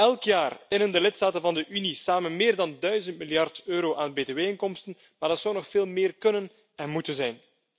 Elk jaar innen lidstaten van de Unie samen meer dan 1000 miljard euro aan btw inkomsten, maar dat zou nog veel meer kunnen en moeten zijn.